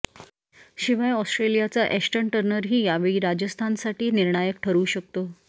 शिवाय ऑस्ट्रेलियाचा एश्टन टर्नरही यावेळी राजस्थानसाठी निर्णायक ठरु शकतो